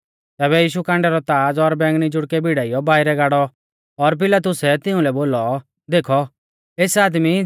तैबै यीशु कांडै रौ ताज़ और बैंगनी जुड़कै भिड़ाइयौ बाइरै गाड़ौ और पिलातुसै तिउंलै बोलौ देखौ एस आदमी